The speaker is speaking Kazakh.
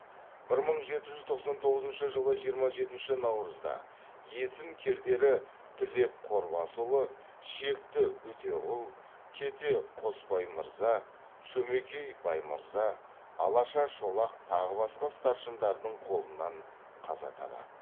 бір мың жеті жүз тоқсан тоғызышы жылы жиырма жетінші наурызда есім кердері тілеп қорбасұлы шекті үтеғұл кете қосбаймырза шөмекей баймырза алаша шолақ тағы басқа старшындардың қолынан қаза табады